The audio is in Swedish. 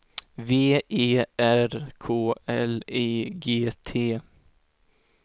V E R K L I G T